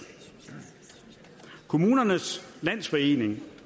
kommunernes landsforening